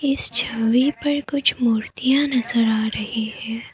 इस छवि पर कुछ मूर्तियां नजर आ रही है।